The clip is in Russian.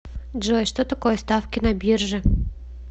джой что такое ставки на бирже